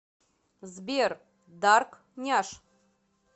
сбер дарк няш